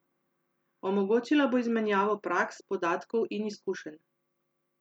Omogočila bo izmenjavo praks, podatkov in izkušenj.